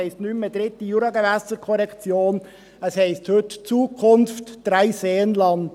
Es heisst nicht mehr «dritte Juragewässerkorrektion», es heisst heute «Zukunft Dreiseenland».